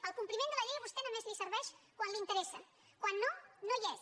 el compliment de la llei a vostè només li serveix quan li interessa quan no no hi és